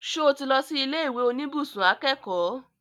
Ṣo tí lọ sí ilé ìwé oníbùsùn akẹ́kọ̀ọ́?